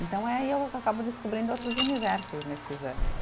Então é aí que eu acabo descobrindo outros universos nesses anos.